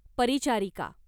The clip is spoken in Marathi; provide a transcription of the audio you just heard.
परिचारिका